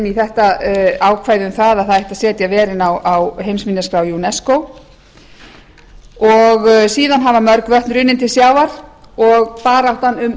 í þetta ákvæði um að setja ætti verin á heimsminjaskrá unesco síðan hafa mörg vötn runnið til sjávar og baráttan um